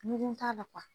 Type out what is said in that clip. Ɲuman t'a la